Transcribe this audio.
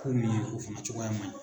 Ko min ye o fana cogoya man ɲi.